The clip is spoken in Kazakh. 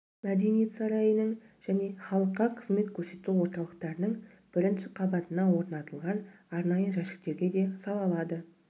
мәдениет сарайының және халыққа қызмет көрсету орталықтарының бірінші қабатына орнатылған арнайы жәшіктерге де сала алады